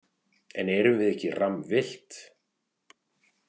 En erum við ekki rammvillt?